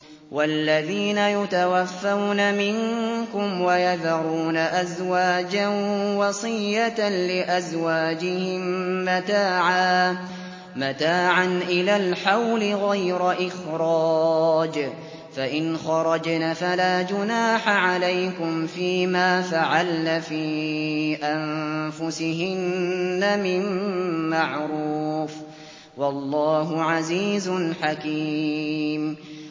وَالَّذِينَ يُتَوَفَّوْنَ مِنكُمْ وَيَذَرُونَ أَزْوَاجًا وَصِيَّةً لِّأَزْوَاجِهِم مَّتَاعًا إِلَى الْحَوْلِ غَيْرَ إِخْرَاجٍ ۚ فَإِنْ خَرَجْنَ فَلَا جُنَاحَ عَلَيْكُمْ فِي مَا فَعَلْنَ فِي أَنفُسِهِنَّ مِن مَّعْرُوفٍ ۗ وَاللَّهُ عَزِيزٌ حَكِيمٌ